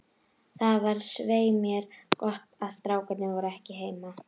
Það var svei mér gott að strákarnir voru ekki heima.